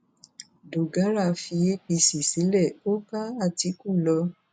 dọgàrá fi apc sílẹ ó bá àtìkù lọ